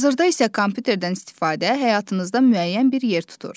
Hazırda isə kompüterdən istifadə həyatınızda müəyyən bir yer tutur.